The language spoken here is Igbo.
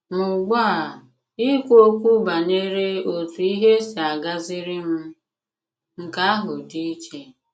Mà ùgbu a, ìkwù òkwù banyere òtù ihe s̀ì àgàzìrì m — nke àhụ dị̀ ìchè.